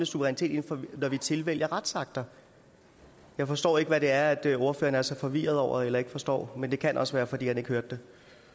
suverænitet når vi tilvælger kommende retsakter jeg forstår ikke hvad det er er ordføreren er så forvirret over eller ikke forstår men det kan også være fordi han ikke hørte